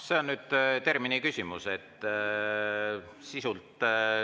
See on nüüd terminiküsimus sisult.